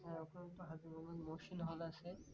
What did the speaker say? হ্যাঁ ওখানে তো হাজী মোহাম্মদ মহসিন হল আছে